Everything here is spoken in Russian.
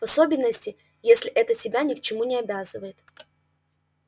в особенности если это тебя ни к чему не обязывает